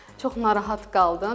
Çox narahat qaldım.